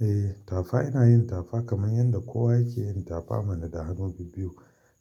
Eh tafa yana yin tafa kamar yadda kowa yake yin tafa mana da hannobi biyu.